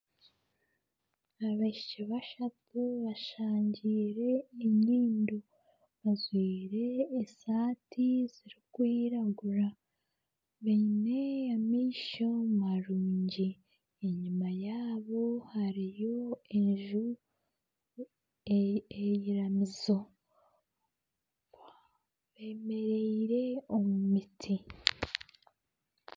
Abaishiki bashutami basangiire enyimdo. Bajwire esaati zirikwiragura, baine amaisho marungi, enyima yaabo hariyo enju, iramizo, bemereire omu miti.